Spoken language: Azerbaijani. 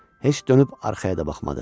Heç dönüb arxaya da baxmadı.